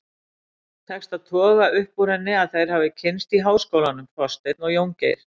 Tekst að toga upp úr henni að þeir hafi kynnst í háskólanum, Þorsteinn og Jóngeir.